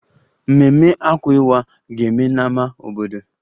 Mmemme Akwa Iwa ga-eme n'ámá obodo